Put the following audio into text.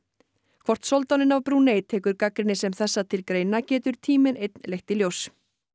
hvort soldáninn af Brúnei tekur gagnrýni sem þessa til greina getur tíminn einn leitt í ljós